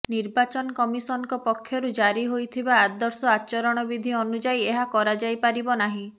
ନିର୍ବାଚନ କମିଶନଙ୍କ ପକ୍ଷରୁ ଜାରି ହୋଇଥିବା ଆଦର୍ଶ ଆଚରଣବିଧି ଅନୁଯାୟୀ ଏହା କରାଯାଇପାରିବ ନାହିଁ